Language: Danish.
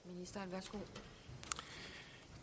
tak